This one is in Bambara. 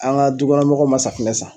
An ŋa du kɔnɔ mɔgɔw ma safunɛ san